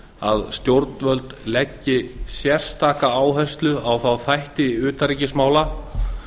að stjórnvöld leggi sérstaka áherslu á þá þætti utanríkismála